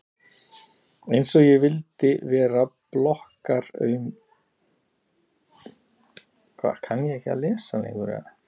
Einsog ég vildi vera blokkaraaumingi!